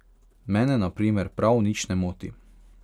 Mene na primer prav nič ne moti.